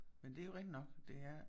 Men det jo rigtigt nok det er